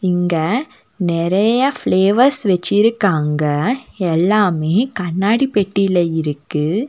இங்க நெறைய ஃப்ளேவர்ஸ் வெச்சிருக்காங்க எல்லாமே கண்ணாடி பெட்டில இருக்கு.